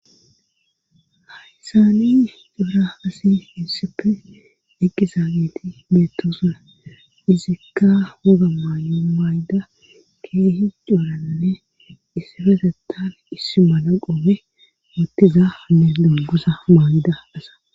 Hayysaani duura hasi finsife eqqizaageti beettosuna izikka woga maayo mayda keehi cooranne issifesetafe issi mana qoobe moottiza ne dumgusa maayida asa.